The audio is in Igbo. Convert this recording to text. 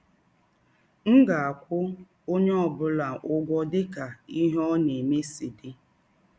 M ga - akwụ ọnye ọ bụla ụgwọ dị ka ihe ọ na - eme si dị.